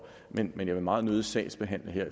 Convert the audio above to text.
men jeg vil meget nødig sagsbehandle her